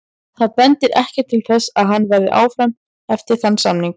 Það bendir ekkert til þess að hann verði áfram eftir þann samning.